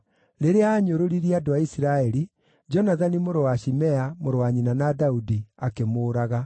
Rĩrĩa aanyũrũririe andũ a Isiraeli, Jonathani mũrũ wa Shimea, mũrũ wa nyina na Daudi, akĩmũũraga.